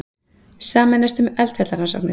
Sameinast um eldfjallarannsóknir